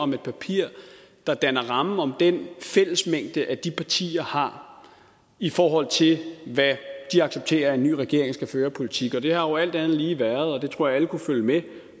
om et papir der danner rammen om den fællesmængde de partier har i forhold til hvad de accepterer at den nye regering skal føre af politik og det har jo alt andet lige været og det tror jeg kunnet følge med i